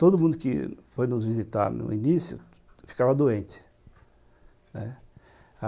Todo mundo que foi nos visitar no início, ficava doente.